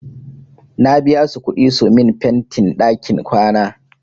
Na biya su kuɗi su min fentin ɗakin kwana.